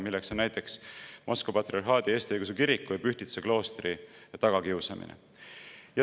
Selle näiteks on Moskva Patriarhaadi Eesti Õigeusu Kiriku ja Pühtitsa kloostri tagakiusamine.